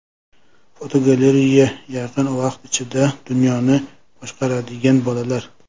Fotogalereya: Yaqin vaqt ichida dunyoni boshqaradigan bolalar.